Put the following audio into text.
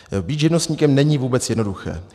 Být živnostníkem není vůbec jednoduché.